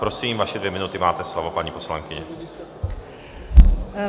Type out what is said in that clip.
Prosím, vaše dvě minuty, máte slovo, paní poslankyně.